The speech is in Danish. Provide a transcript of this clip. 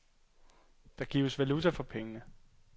Der gives valuta for pengene.